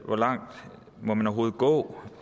hvor langt må man overhovedet gå